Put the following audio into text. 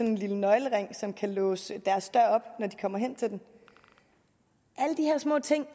en lille nøglering som kan låse deres dør op når de kommer hen til den alle de her små ting